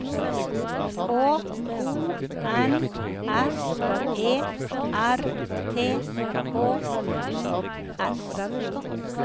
K O N S E R T H U S